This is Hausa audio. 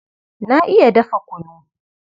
Na iya dafa kunu.